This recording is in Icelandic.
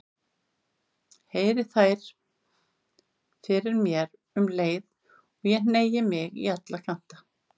Heyri þær fyrir mér um leið og ég hneigi mig á alla kanta.